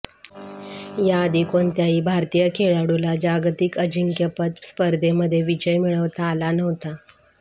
याआधी कोणत्याही भारतीय खेळाडूला जागतिक अजिंक्यपद स्पर्धेमध्ये विजय मिळवता आलेला नव्हता